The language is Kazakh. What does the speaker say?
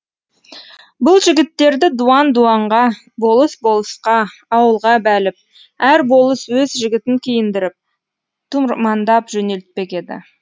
бұл жігіттерді дуан дуанға болыс болысқа ауылға бәліп әр болыс өз жігітін киіндіріп тұрмандап жөнелтпек еді